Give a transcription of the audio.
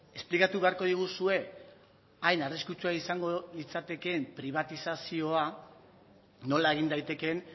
esplikatu beharko diguzue ain arriskutsua izango litzatekeen pribatizazioa nola egin daitekeen